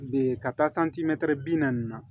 Be ka taa santimɛtiri bi naani na